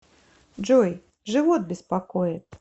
джой живот беспокоит